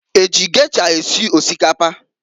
Eji gesha esi osikapa?